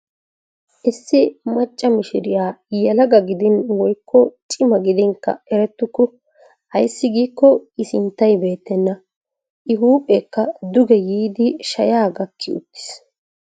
Issi macca mishiriyaa yelaga gidin woykko cima gidinkka erettuku. Ayssi giiko i sinttay beettena. i huuphphekka duuge yiidi shayaa gaakki uttiis.